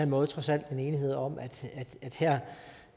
måde trods alt en enighed om